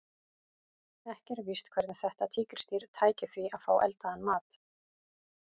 Ekki er víst hvernig þetta tígrisdýr tæki því að fá eldaðan mat.